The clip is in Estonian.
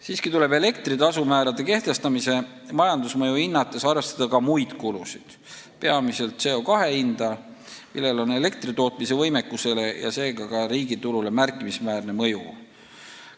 Samas tuleb elektri tasumäärade kehtestamise majandusmõju hinnates arvestada ka muid kulusid, peamiselt CO2 hinda, millel on elektritootmise võimekusele ja seega ka riigitulule märkimisväärne mõju.